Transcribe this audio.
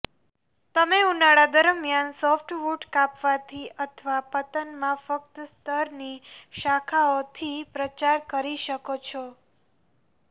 તમે ઉનાળા દરમિયાન સોફ્ટવૂડ કાપવાથી અથવા પતનમાં ફક્ત સ્તરની શાખાઓથી પ્રચાર કરી શકો છો